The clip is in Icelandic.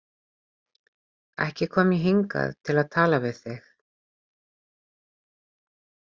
Ekki kom ég hingað til að tala við þig.